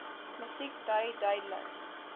musiek dui duidelik